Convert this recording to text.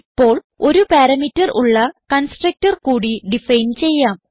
ഇപ്പോൾ ഒരു പാരാമീറ്റർ ഉള്ള കൺസ്ട്രക്ടർ കൂടി ഡിഫൈൻ ചെയ്യാം